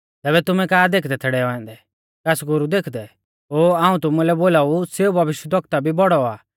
तैबै तुमै का देखदै थै डैऔ औन्दै कास गुरु देखदै ओ हाऊं तुमुलै बोलाऊ सेऊ भविश्यवक्ता कु भी बौड़ौ आ